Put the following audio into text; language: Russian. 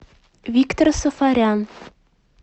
виктор сафарян